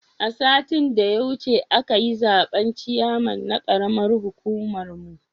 Satin da ya wuce akayi zaben ciyaman ya karamar hukumar mu